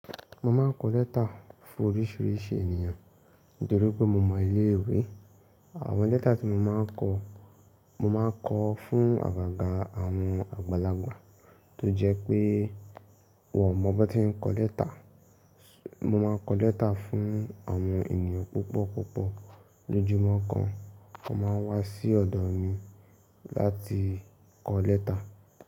Mo máa ń kọ lẹ́tà fún oríṣìíríṣìí ènìyàn nítorí pé mo mọ ilé ìwé. Àwọn lẹ́tà tí mo máa ń kọ, mo máa ń kọ fún àgàgà àwọn àgbàlagbà tó jẹ́ pé wọ́n ò mọ bí wọ́n tí ń kọ lẹ́tà. Mo máa ń kọ lẹ́tà fún àwọn ènìyàn púpọ̀ púpọ̀. Lójúmọ́ kan, wọ́n máa ń wá sí ọ̀dọ̀ mi láti kọ lẹ́tà.